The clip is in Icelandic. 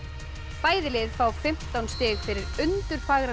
bæði liðin fá fimmtán stig fyrir